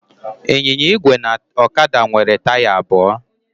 Ịnyịnya igwe na ọkada nwere taya abụọ.